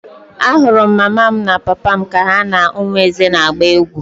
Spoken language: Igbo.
Ahụrụ m mama m na papa m ka ha na ụmụ Eze na-agba egwu.